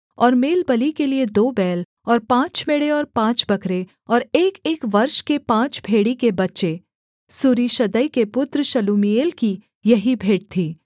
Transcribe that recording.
और मेलबलि के लिये दो बैल और पाँच मेढ़े और पाँच बकरे और एकएक वर्ष के पाँच भेड़ी के बच्चे सूरीशद्दै के पुत्र शलूमीएल की यही भेंट थी